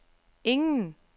ingen